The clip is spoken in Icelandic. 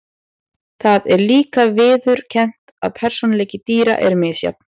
Það er líka viðurkennt að persónuleiki dýra er misjafn.